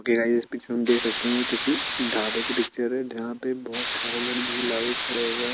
में देख सकते हैं कि किसी ढाबे की पिक्चर है जहां पे बहोत सारे लोग भीड़ लगाके खड़े हुए हैं।